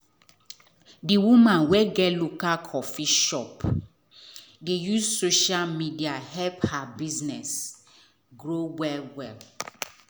the woman wey get local coffee shop dey use social media help her business grow well well.